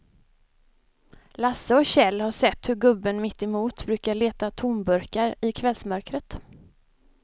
Lasse och Kjell har sett hur gubben mittemot brukar leta tomburkar i kvällsmörkret.